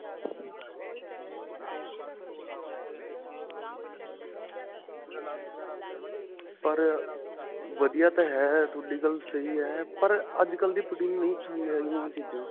ਪਰ ਵਧੀਆ ਤਾਂ ਹੈਂ. ਤੁਹਾਡੀ ਗੱਲ ਸਹੀ ਹੈ, ਪਰ ਅੱਜਕਲ੍ਹ ਦੀ ਨਹੀਂ ਪਸੰਦ ਹੈ ਗਈਆਂ ਓਹ ਚੀਜ਼ਾਂ.